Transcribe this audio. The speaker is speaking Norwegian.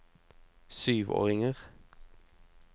syvåringer